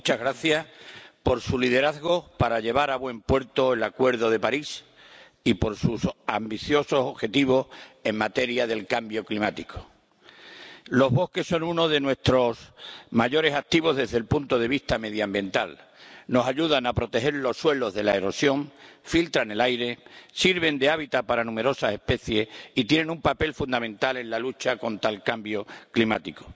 Muchas gracias por su liderazgo para llevar a buen puerto el Acuerdo de París y por sus ambiciosos objetivos en materia de cambio climático. Los bosques son uno de nuestros mayores activos desde el punto de vista medioambiental. Nos ayudan a proteger los suelos de la erosión, filtran el aire, sirven de hábitat para numerosas especies y tienen un papel fundamental en la lucha contra el cambio climático.